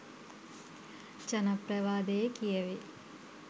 ජනප්‍රවාදයේ කියැවෙයි.